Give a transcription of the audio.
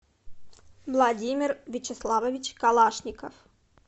владимир вячеславович калашников